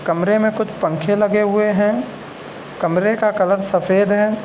कमरे में कुछ पंखे लगे हुए हैं कमरे का कलर सफ़ेद है।